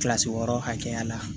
Kilasi wɔɔrɔ hakɛya la